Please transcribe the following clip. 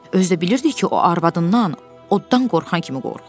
Özü də bilirdi ki, o arvadından oddan qorxan kimi qorxur.